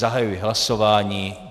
Zahajuji hlasování.